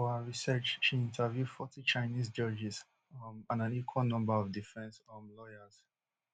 for her research she interview forty chinese judges um and an equal number of defence um lawyers